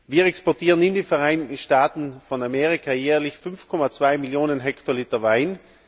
Wir exportieren in die Vereinigten Staaten von Amerika jährlich 5,2 Millionen Hektoliter Wein.